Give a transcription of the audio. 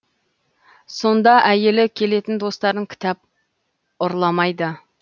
сонда әйелі келетін достарын кітап ұрламайды